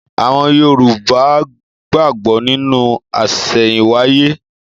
Àwọn Yorùbá gbàgbó nínú àsẹ̀yìnwáyé